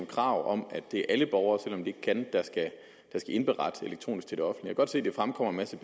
krav om at det er alle borgere også selv om de ikke kan der skal indberette elektronisk til det offentlige godt se der fremkommer en masse